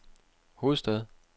hovedstad